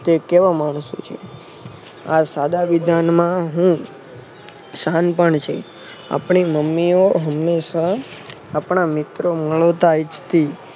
તે કેવા માણસો છે. આ સાદા વિધાનમાં હું સાનપણ છે. આપણી મમ્મીઓ હંમેશા આપણા મિત્રો ઇચ્છતી.